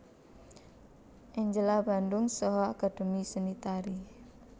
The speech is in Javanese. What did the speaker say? Angela Bandung saha Akademi Seni Tari